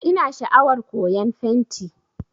Ina sha'awar koyan fenti